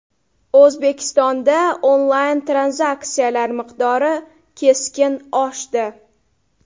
O‘zbekistonda onlayn-tranzaksiyalar miqdori keskin oshdi.